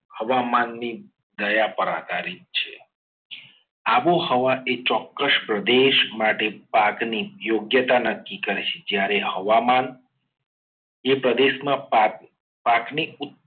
હવામાનની દયા પર આધારિત છે. આબોહવાએ ચોક્કસ પ્રદેશ માટે પાકની યોગ્યતા નક્કી કરે જ્યારે હવામાન એ પ્રદેશમાં પાક પાકની